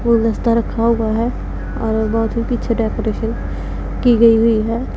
फूलदस्ता रखा हुआ है और बहोत अच्छी डेकोरेशन की गई हुई है।